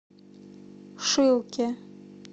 шилке